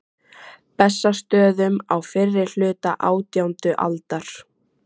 Bessastöðum á fyrri hluta átjándu aldar.